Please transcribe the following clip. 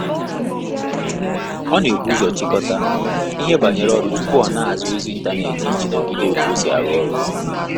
Ọ na ebu ụzọ chikota ihe banyere ọrụ tupu ọ na aza ozi intaneti iji n'ogide otu osi arụ ọrụ